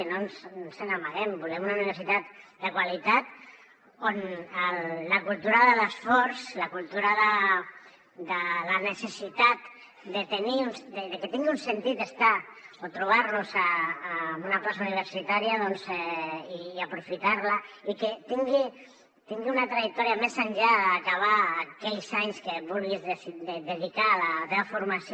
i no ens n’amaguem volem una universitat de qualitat on la cultura de l’esforç la cultura de la necessitat de que tingui un sentit estar o trobar nos en una plaça universitària i aprofitar la i que tingui una trajectòria més enllà d’acabar aquells anys que vulguis dedicar a la teva formació